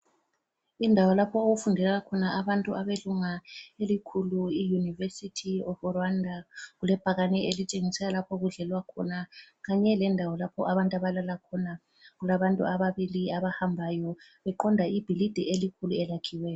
Indawo lapho okufundela khona abantu abelunga elikhulu i university of Rwanda. Kulebhakane elitshengisela lapho okudlelwa khona kanye lendawo lapho abantu abalala khona kulabantu ababili abahambayo beqonda ibhilidi elikhulu eliyakhiweyo.